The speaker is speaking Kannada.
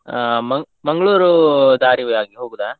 ಹ Mang~ Mangalore ದಾರಿವೆ ಆಗಿ ಹೋಗುದಾ?